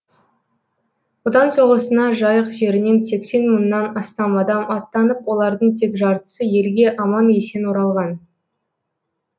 отан соғысына жайық жерінен сексен мыңнан астам адам аттанып олардың тек жартысы елге аман есен оралған